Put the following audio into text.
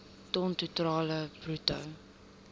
ton totaal bruto